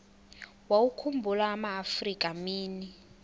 wawakhumbul amaafrika mini